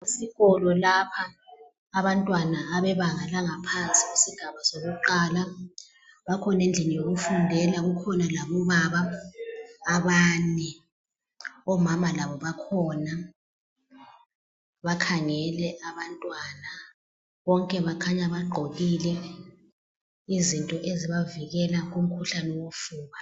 Esikolo lapha, abantwana abebanga langaphansi kusigaba sakuqala, bakhona endlini yokufundela. Kukhona labobaba abane. Omama labo bakhona, bakhangele abantwana. Bonke bakhanya bagqokile izinto ezibavikela umkhuhlane wofuba.